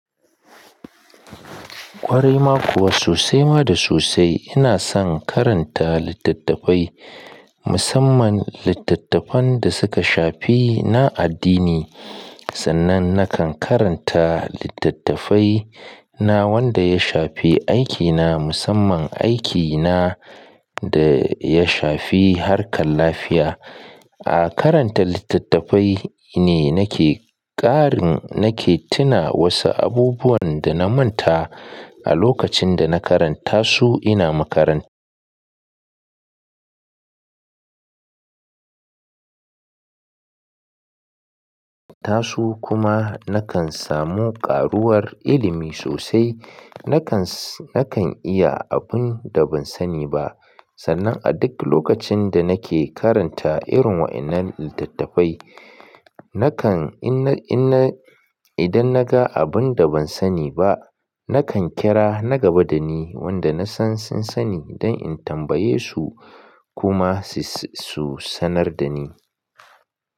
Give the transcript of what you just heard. Ƙware ma kuwa sosai ma da sosai ina son karanta littattafai, musamman littattafan da suka shafi na addini. Sannan nakan karanta littattafai na wanda ya shafi aikina musamman aikina da ya shafi harkar lafiya. A karanta littattafai ne nake ƙarin nake tuna wasu abubuwan da na manta a lokacin da na karanta su ina makaranta su kuma nakan samu ƙaruwar ilimi sosai. Nakan, nakan iya abun da ban sani ba sannan a duk lokacin da nake karanta irin waɗannan littattafai, nakan ina, ina idan naga abun da ban sani ba, nakan kira na gaba dani wanda nasan sun sani don in tambaye su kuma su, su sanar dani.